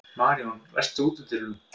Maríon, læstu útidyrunum.